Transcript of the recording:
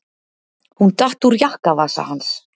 Hún datt úr jakkavasa hans.